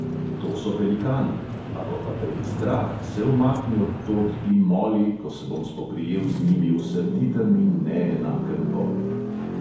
To so velikani; ako pa te je strah, se umakni odtod in moli, ko se bom spoprijel z njimi v srditem in neenakem boju.